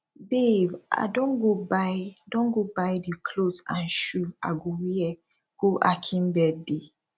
babe i don go buy don go buy the cloth and shoe i go wear go akin birthday